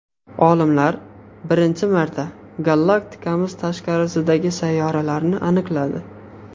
Olimlar birinchi marta galaktikamiz tashqarisidagi sayyoralarni aniqladi.